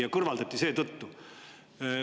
See kõrvaldati seetõttu.